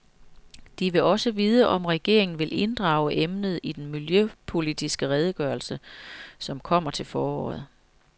De vil også vide, om regeringen vil inddrage emnet i den miljøpolitiske redegørelse, som kommer til foråret.